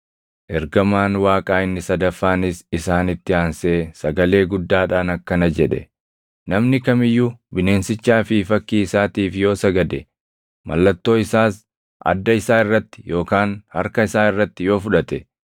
Ergamaan Waaqaa inni sadaffaanis isaanitti aansee sagalee guddaadhaan akkana jedhe; “Namni kam iyyuu bineensichaa fi fakkii isaatiif yoo sagade, mallattoo isaas adda isaa irratti yookaan harka isaa irratti yoo fudhate,